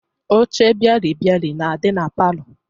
Oche bịalịbịalị na-adị na palọ